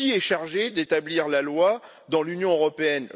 Qui est chargé d'établir la loi dans l'Union européenne?